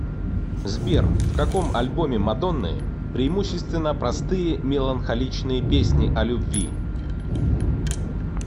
сбер в каком альбоме мадонны преимущественно простые меланхоличные песни о любви